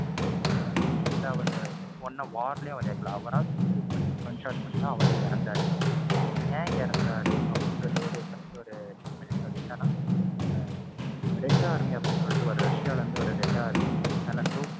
ஆஹ் இல்ல அவரு war லையும் இறக்கல. அவரா suicide பண்ணி, gunshot பண்ணி தான் அவரே இறந்தாரு. அந்த ஏன் இறந்தாரு அப்படின்றது ஒரு first ஒரு ten minutes அது என்னன்னா அஹ் red army அப்படின்னு சொல்லிட்டு ரஷ்சியால இருந்து வர ஒரு red army தன்னை தோற்~